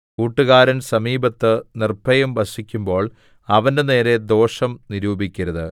കൂട്ടുകാരൻ സമീപത്ത് നിർഭയം വസിക്കുമ്പോൾ അവന്റെനേരെ ദോഷം നിരൂപിക്കരുത്